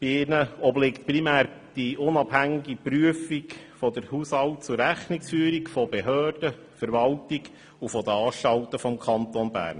Der Finanzkontrolle obliegt primär die unabhängige Prüfung der Haushalt- und Rechnungsführung der Behörden, der Verwaltung und der Anstalten des Kantons Bern.